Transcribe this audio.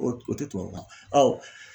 O o tɛ tubabukan ye